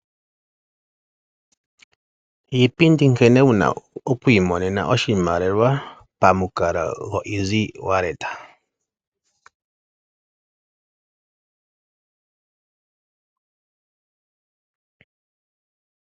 Iipindi nkene wuna okuimonena oshimaliwa pamukalo gwoEassy Wallet.